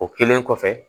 O kɛlen kɔfɛ